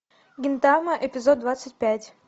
гинтама эпизод двадцать пять